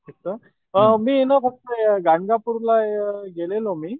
मी ये ना फक्त गाणगापूरला गेलेलो मी